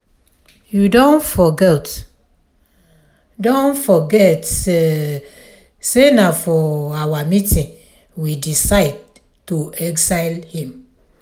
you don forget um don forget um say na for our meeting we decide to exile him.